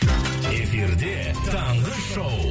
эфирде таңғы шоу